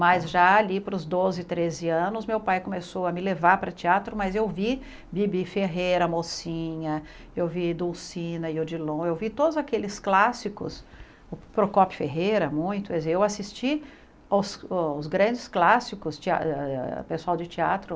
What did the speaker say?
Mas já ali para os doze, treze anos, meu pai começou a me levar para teatro, mas eu vi Bibi Ferreira, Mocinha, eu vi Dulcina e Odilon, eu vi todos aqueles clássicos, Procopio Ferreira muito, quer dizer eu assisti os grandes clássicos, ah ah pessoal de teatro...